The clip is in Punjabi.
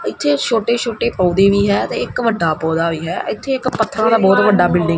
ਇੱਥੇ ਛੋਟੇ-ਛੋਟੇ ਪੌਦੇ ਵੀ ਹੈ ਤੇ ਇੱਕ ਵੱਡਾ ਪੌਦਾ ਵੀ ਹੈ ਅਥੇ ਇੱਕ ਪੱਥਰਾਂ ਦਾ ਬਹੁਤ ਵੱਡਾ ਬਿਲਡਿੰਗ --